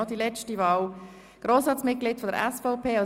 Stefan Costa mit 115 Stimmen